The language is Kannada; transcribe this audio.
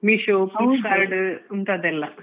online shopping Meesho, Flipkart ಇಂತದೆಲ್ಲ.